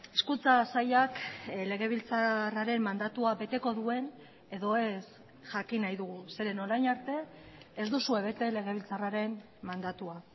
hezkuntza sailak legebiltzarraren mandatua beteko duen edo ez jakin nahi dugu zeren orain arte ez duzue bete legebiltzarraren mandatua